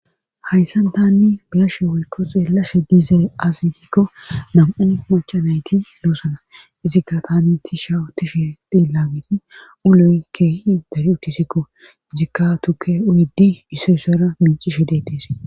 Hayssan tanni biyashe woykko xeellashe diize asidikko nam7u machanayti loossana izikka tani ti shau tishe dillameti uloy keehi daryu tisikko izikka tuke uyidi isso ssara mincishe deettees